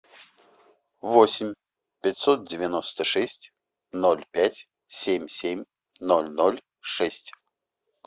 восемь пятьсот девяносто шесть ноль пять семь семь ноль ноль шесть